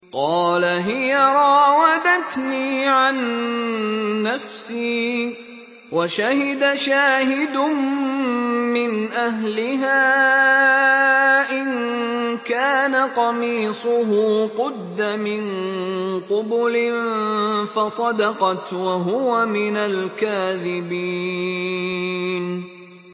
قَالَ هِيَ رَاوَدَتْنِي عَن نَّفْسِي ۚ وَشَهِدَ شَاهِدٌ مِّنْ أَهْلِهَا إِن كَانَ قَمِيصُهُ قُدَّ مِن قُبُلٍ فَصَدَقَتْ وَهُوَ مِنَ الْكَاذِبِينَ